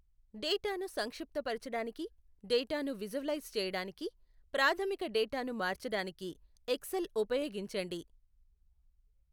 డేటాను సంక్షిప్తపరచడానికి, డేటాను విజువలైజ్ చేయడానికి, ప్రాథమిక డేటాను మార్చడానికి ఎక్సెల్ ఉపయోగించండి.